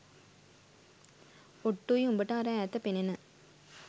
ඔට්ටුයි උඹට අර ඈත පෙනෙන